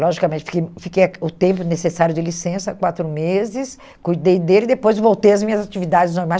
Logicamente, fiquei fiquei o tempo necessário de licença, quatro meses, cuidei dele e depois voltei às minhas atividades normais.